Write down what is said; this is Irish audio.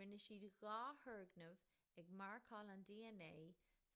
rinne siad dhá thurgnamh ag marcáil an dna